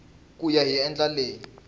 ku ya hi ndlela leyi